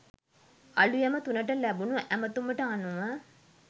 අලූයම තුනට ලැබුණු ඇමතුමට අනුව